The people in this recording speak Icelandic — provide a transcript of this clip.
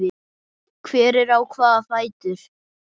Hver á hvaða fætur?